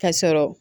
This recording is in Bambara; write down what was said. Ka sɔrɔ